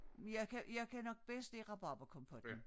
Jeg kan jeg kan nok bedst lide rabarberkompotten